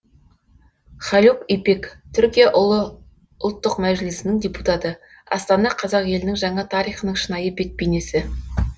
халюк ипек түркия ұлы ұлттық мәжілісінің депутаты астана қазақ елінің жаңа тарихының шынайы бет бейнесі